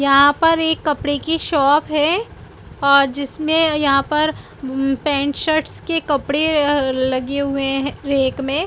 यहाँ पर एक कपडे की शॉप है और जिसमे अ यहाँ पर उम पेंट शर्ट्स के कपड़े अअअ लगे हुए है रैक में--